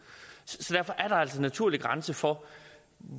derfor er der altså en naturlig grænse for